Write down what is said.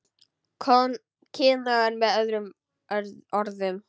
Kynóður með öðrum orðum.